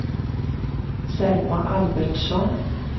Selma Albertsson